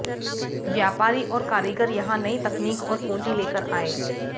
व्यापारी और कारीगर यहां नई तकनीक और पूंजी लेकर आए